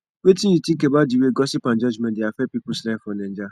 wetin you think about di way gossip and judgment dey affect peoples lives for naija